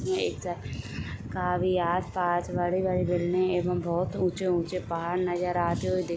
एक का आस पास बड़े - बड़े बीलडिंग एवं बहोत उच्चे - उच्चे पहाड़ नजर आते हुए दिखाई --